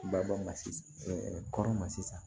Ba bɔ ma kɔrɔn ma sisan